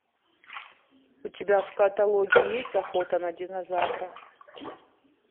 у тебя в каталоге есть охота на динозавра